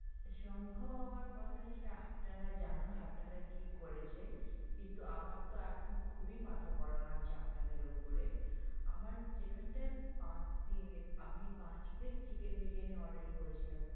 সম্ভব হওয়ার কথা সে আপনারা জানুন আপনারা কি করেছেন কিন্তু আমার তো এখন খুবই মাথা গরম আছে আপনাদের ওপরে আমার যেখানটায় পাঁচ দিনের আমি পাঁচ plate chicken বিরিয়ানী order করেছিলাম।